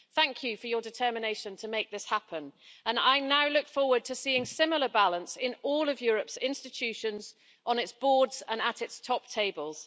Thank you for your determination to make this happen, and I now look forward to seeing similar balance in all of Europe's institutions on its boards and at its top tables.